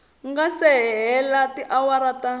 nga si hela tiawara ta